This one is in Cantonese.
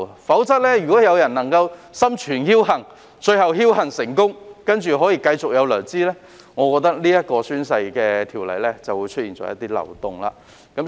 否則，如果有人心存僥幸，而且最後僥幸成功，並繼續收取薪酬，這項宣誓條例便是出現漏洞。